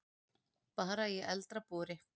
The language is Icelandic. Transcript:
Bara í eldra búri.